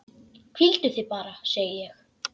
Hvíldu þig bara, segi ég.